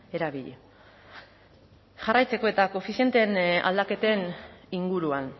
erabili jarraitzeko eta koefizientearen aldaketen inguruan